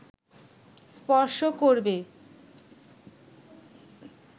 স্পর্শ করবে